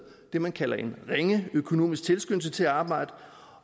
det man kalder en ringe økonomisk tilskyndelse til at arbejde